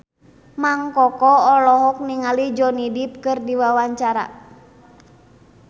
Mang Koko olohok ningali Johnny Depp keur diwawancara